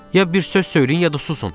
Ya bir söz söyləyin, ya da susun!